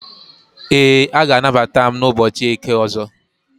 Ee, a ga-anagbata ​​m na ụbọchị eke ọzọ